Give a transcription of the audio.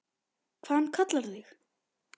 Hvað hann kallar þig?